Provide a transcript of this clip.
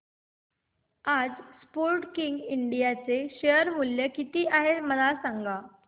आज Sportking India चे share मूल्य किती आहे मला सांगा